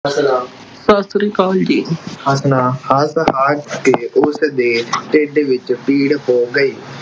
ਹੱਸਣਾ। ਸਤਿ ਸ਼੍ਰੀ ਅਕਾਲ ਜੀ, ਹੱਸਣਾ ਹੱਸ ਹੱਸ ਕੇ ਉਸ ਦੇ ਢਿੱਡ ਵਿੱਚ ਪੀੜ ਹੋ ਗਈ।